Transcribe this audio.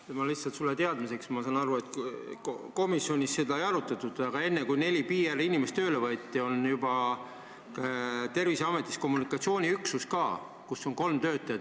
Ütlen sulle lihtsalt teadmiseks: ma saan aru, et komisjonis seda ei arutatud, aga enne, kui neli PR-inimest tööle võeti, oli Terviseametil juba olemas kommunikatsiooniüksus, kus oli kolm töötajat.